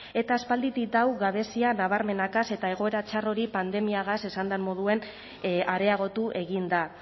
eta aspalditik dau gabezia nabarmenakaz eta egoera txar hori pandemiagaz esan dan moduen areagotu egin da